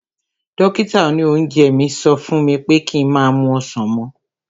Dókítà òní oúnjẹ mi sọ fún mi pé ki má mu ọsàn mọ́